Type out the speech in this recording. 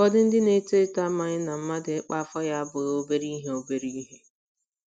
Ụfọdụ ndị na - eto eto amaghị na mmadụ ịkpa afọ ya abụghị obere ihe. obere ihe.